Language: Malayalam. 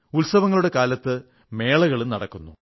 ഉത്സവങ്ങളുടെ കാലത്ത് മേളകളും നടക്കുന്നു